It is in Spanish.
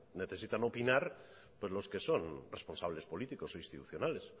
necesitan opinar pues los que son responsables políticos o institucionales